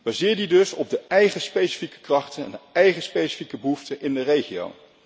Baseer die dus op de eigen specifieke krachten en de eigen specifieke behoeften in de regio.